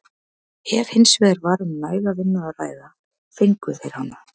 Ef hins vegar var um næga vinnu að ræða fengu þeir hana.